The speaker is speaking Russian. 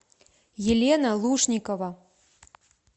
елена лушникова